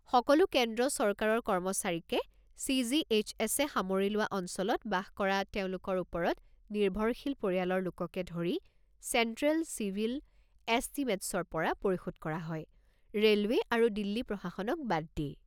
সকলো কেন্দ্ৰ চৰকাৰৰ কৰ্মচাৰীকে, চি.জি.এইচ.এছ.-এ সামৰি লোৱা অঞ্চলত বাস কৰা তেওঁলোকৰ ওপৰত নিৰ্ভৰশীল পৰিয়ালৰ লোককে ধৰি, চেণ্ট্ৰেল চিভিল এছটিমেটছৰ পৰা পৰিশোধ কৰা হয় ৰে'লৱে আৰু দিল্লী প্ৰশাসনক বাদ দি।